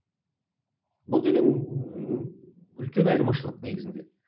бұл деген үлкен айырмашылық негізінде